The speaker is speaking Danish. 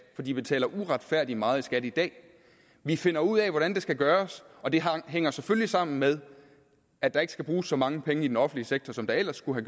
for de betaler uretfærdigt meget i skat i dag vi finder ud af hvordan det skal gøres og det hænger selvfølgelig sammen med at der ikke skal bruges så mange penge i den offentlige sektor som der ellers skulle